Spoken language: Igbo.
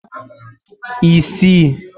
isii